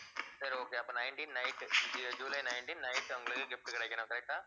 சரி okay அப்ப nineteen night ஜூ~ ஜூலை nineteen night அவங்களுக்கு gift கிடைக்கணும் correct ஆ